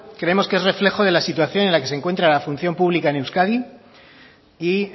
creemos que es reflejo de la situación en la que se encuentra la función pública en euskadi y